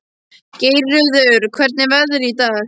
Geirröður, hvernig er veðrið í dag?